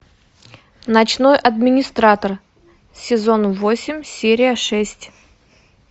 ночной администратор сезон восемь серия шесть